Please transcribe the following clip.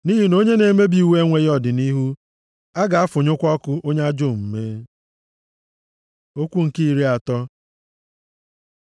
Nʼihi na onye na-emebi iwu enweghị ọdịnihu; a ga-afụnyụkwa ọkụ onye ajọ omume. Okwu nke iri atọ